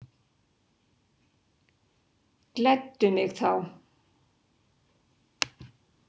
Gleddu mig þá.